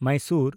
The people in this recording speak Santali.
ᱢᱟᱭᱥᱳᱨ